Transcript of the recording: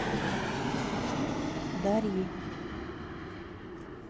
дарьи